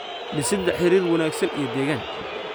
Dhisidda Xiriir Wanaagsan iyo Deegaan.